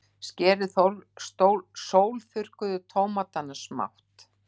Skerið sólþurrkuðu tómatana smátt.